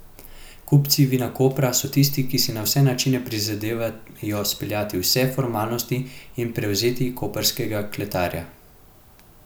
Kupci Vinakopra so tisti, ki si na vse načine prizadevajo speljati vse formalnosti in prevzeti koprskega kletarja.